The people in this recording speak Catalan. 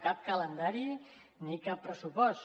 cap calendari ni cap pressupost